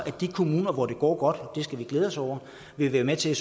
at de kommuner hvor det går godt og det skal vi glæde os over vil være med til at